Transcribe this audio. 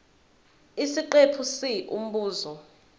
isiqephu c umbuzo